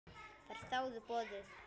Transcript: Þær þáðu boðið.